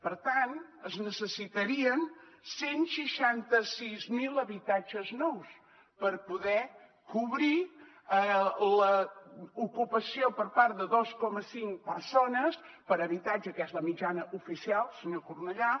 per tant es necessitarien cent i seixanta sis mil habitatges nous per poder cobrir l’ocupació per part de dos coma cinc persones per habitatge que és la mitjana oficial senyor cornellà